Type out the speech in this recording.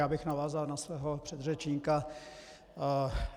Já bych navázal na svého předřečníka.